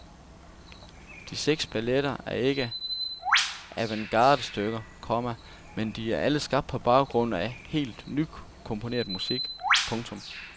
De seks balletter er ikke alle avantgardestykker, komma men de er alle skabt på baggrund af helt nykomponeret musik. punktum